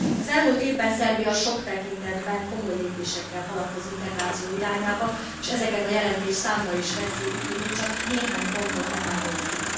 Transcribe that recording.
Az elmúlt évben Szerbia sok tekintetben komoly lépésekkel haladt az integráció irányába, és ezeket a jelentés számba is veszi, úgyhogy én csak néhány pontot emelnék ki.